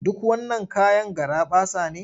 Duk wannan kayan garaɓasa ne?